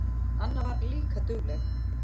Anna var líka dugleg.